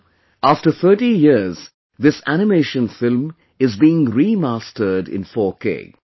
Now, after 30 years this animation film is being remastered in 4K